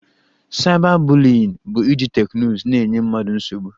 Cyber bullying bụ iji teknụzụ na-enye mmadụ nsogbu